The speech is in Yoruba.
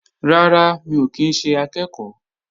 Rárá, mi ò kí ń ṣe akẹ́ẹ̀kọ́